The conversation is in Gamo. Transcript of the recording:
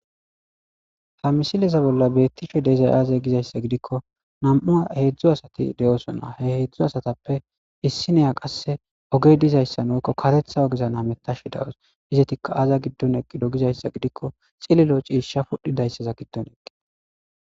Ha misileza bolla betishe dizay aze gizaysa gidikon hezdzdu asati de'osona , he hezdzdu asatappe qase issiniya ogey dizaysan woko karetha ogezan hametashe dawusi , izetika aaza gidon eqido gizaysa gidikon cililo ciisha pudhizaysa giddon eqida.